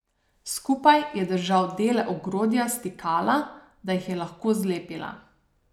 Skupaj je držal dele ogrodja stikala, da jih je lahko zlepila.